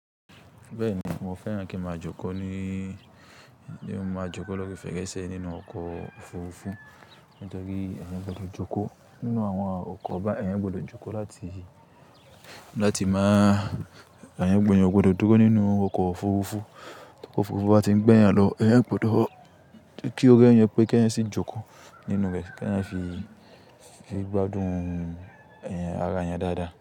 Bẹ́ẹ̀ni, mo fẹ́ràn kí n máa jókòó ní, ní mo máa jókòó lọ́ri fẹ́rẹ̀sẹ̀ nínú ọkọ̀ òfurufú. Ó jọ́ pé ẹ̀yin gbọdọ̀ jókòó nínú àwọn ọkọ̀ bá ẹ̀yin gbọdọ̀ jókòó láti, láti máa, ẹ̀yin gbọdọ̀ jókòó nínú ọkọ̀ òfurufú. Ọkọ̀ òfurufú bá ti ń gbẹ́ yàn lọ, ẹ̀yin gbọdọ̀ kí ó rẹ yàn pé kí ẹ sì jókòó nínú rẹ̀, kí ẹ fi gbádùn ẹ̀yin, ara yẹn dáadáa.